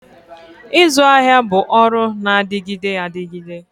Ịzụ ahịa bụ ọrụ na-adịgide adịgide